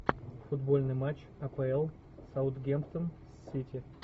футбольный матч апл саутгемптон с сити